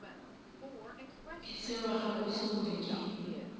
ke tseba gabotse gore ke